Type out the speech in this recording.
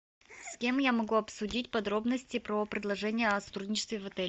с кем я могу обсудить подробности про предложение о сотрудничестве в отеле